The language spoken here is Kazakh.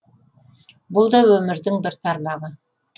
бұл да өмірдің бір тармағы